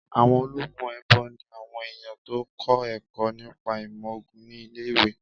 Àwọn ológun èèbó ni àwọn èèyàn tó kọ́ ẹ̀kọ́ nípa ìmọ̀ ògùn ní ilé-ìwé